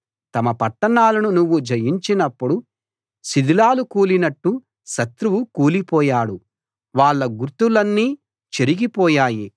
తమ పట్టణాలను నువ్వు జయించినప్పుడు శిథిలాలు కూలినట్టు శత్రువు కూలిపోయాడు వాళ్ళ గుర్తులన్నీ చెరిగిపోయాయి